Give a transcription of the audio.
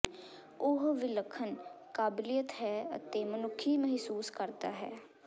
ਉਹ ਵਿਲੱਖਣ ਕਾਬਲੀਅਤ ਹੈ ਅਤੇ ਮਨੁੱਖੀ ਮਹਿਸੂਸ ਕਰਦਾ ਹੈ